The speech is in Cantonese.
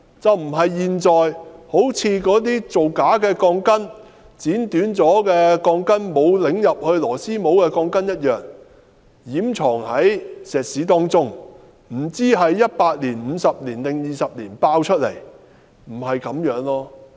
事情不應像現在那些造假的鋼筋、被剪短的鋼筋、沒有旋入螺絲帽的鋼筋般，掩藏在混凝土內，我們不知問題會否在100年、50年或20年爆發，這並非應有做法。